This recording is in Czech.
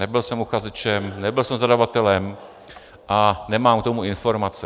Nebyl jsem uchazečem, nebyl jsem zadavatelem a nemám k tomu informace.